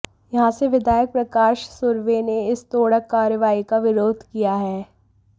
यहां से विधायक प्रकाश सुर्वे ने इस तोड़क कार्रवाई का विरोध किया है